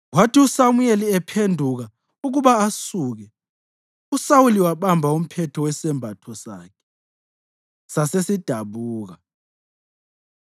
Kwathi uSamuyeli ephenduka ukuba asuke, uSawuli wabamba umphetho wesembatho sakhe, sasesidabuka.